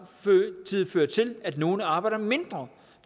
føre til at nogle arbejder mindre